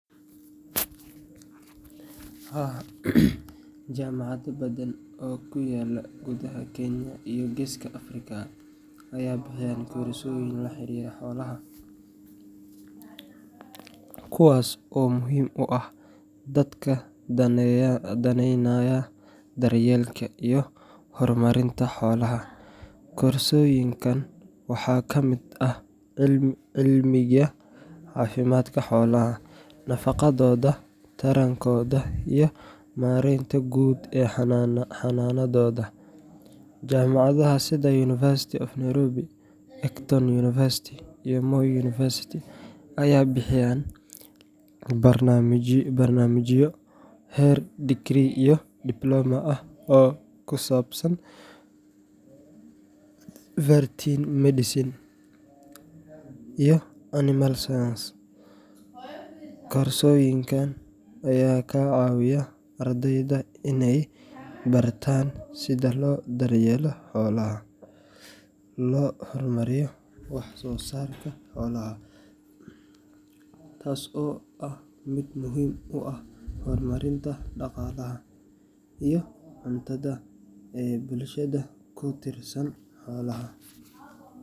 Haa, jaamacado badan oo ku yaalla gudaha Kenya iyo Geeska Afrika ayaa bixiya koorsooyin la xiriira xoolaha, kuwaas oo muhiim u ah dadka daneynaya daryeelka iyo horumarinta xoolaha. Koorsooyinkan waxaa ka mid ah cilmiga caafimaadka xoolaha, nafaqadooda, tarankooda, iyo maaraynta guud ee xanaanadooda. Jaamacadaha sida University of Nairobi, Egerton University, Moi University ayaa bixiya barnaamijyo heer degree iyo diploma ah oo ku saabsan veterinary medicine animal science. Koorsooyinkan ayaa ka caawiya ardayda inay bartaan sida loo daryeelo xoolaha, loo xakameeyo cudurradooda, iyo sida loo horumariyo wax-soo-saarka xoolaha, taas oo ah mid muhiim u ah horumarinta dhaqaalaha iyo cuntada ee bulshada ku tiirsan xoolaha.